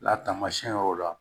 La tamasiyɛn yɔrɔ la